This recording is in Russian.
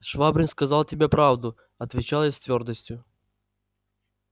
швабрин сказал тебе правду отвечал я с твёрдостью